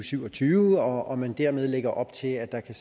syv og tyve og at man dermed lægger op til at der kan